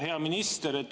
Hea minister!